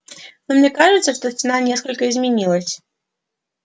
но мне кажется что стена несколько изменилась